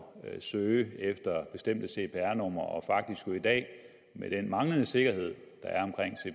søge efter bestemte cpr numre og faktisk jo i dag med den manglende sikkerhed